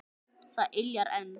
Það yljar enn.